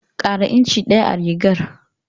Ƙara inci ɗaya a rigar.